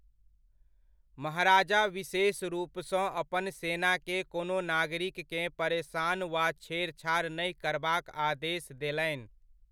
महाराजा विशेष रूपसँ अपन सेनाकेँ कोनो नागरिककेँ परेसान वा छेड़छाड़ नहि करबाक आदेश देलनि।